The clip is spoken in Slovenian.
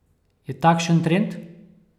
Je takšen trend?